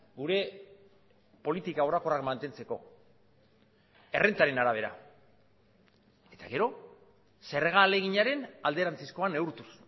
gure politika orokorrak mantentzeko errentaren arabera eta gero zerga ahaleginaren alderantzizkoa neurtuz